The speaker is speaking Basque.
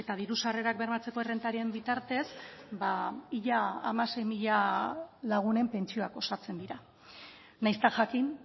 diru sarrerak bermatzeko errentaren bitartez ba ia hamasei mila lagunen pentsioak osatzen dira nahiz eta jakin